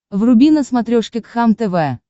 вруби на смотрешке кхлм тв